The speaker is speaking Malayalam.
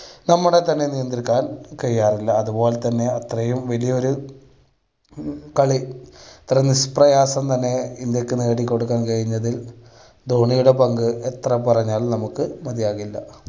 നമ്മുടെ തന്നെ നിയന്ത്രിക്കാൻ കഴിയാറില്ല അത് പോലെ തന്നെ അത്രയും വലിയ ഒരു കളി ഇത്ര നിഷ്പ്രയാസം തന്നെ ഇന്ത്യക്ക് നേടി കൊടുക്കാൻ കഴിയുന്നതിൽ ധോണിയുടെ പങ്ക് എത്ര പറഞ്ഞാലും നമുക്ക് മതിയാകില്ല.